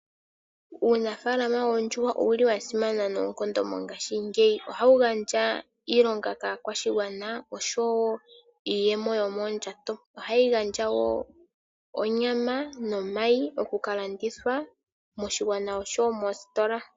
Uunafalama woondjuwa owuli wasimana noonkondo mongaashi ngeyi. Ohawu gandja iilonga kakwashigwana niiyemo yomondjato nohayi gandja onyama nomayi gokuka landithwa moshigwana nomositola.